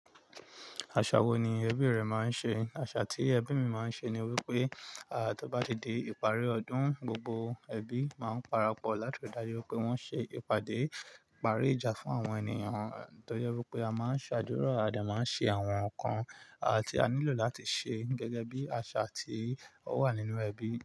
Aṣa wo ni ẹbí rẹ máa ń ṣe? Aṣa tí ẹbí mi máa ń ṣe ni wípé, a, tí ó bá ti di ìparí ọdún, gbogbo ẹbí máa ń para pọ̀ láti ri daju wipé wón ṣe ìpàdé ìparí ìjà fún àwọn ènìyàn, tó jẹ wípé a máa ń ṣàdúrà, a de máa ń ṣe àwọn nǹkan, a, tí a nílò láti ṣe gẹ́gẹ́ bí aṣa tí ó wà nínú ẹbí.